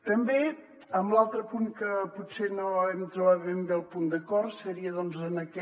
també en l’altre punt que potser no hem trobat ben bé el punt d’acord seria en aquest